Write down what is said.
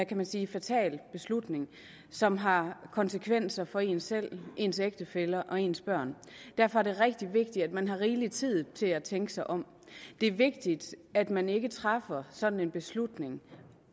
kan man sige fatal beslutning som har konsekvenser for en selv ens ægtefælle og ens børn derfor er det rigtig vigtigt at man har rigelig tid til at tænke sig om det er vigtigt at man ikke træffer sådan en beslutning